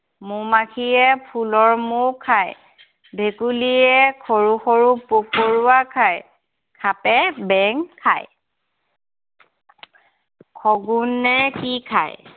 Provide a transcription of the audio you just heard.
মৌ-মাখিয়ে ফুলৰ মৌ খায়। ভেকুলীয়ে সৰু সৰু পোক পৰুৱা খায়। সাপে বেং খায়। শগুণে কি খায়?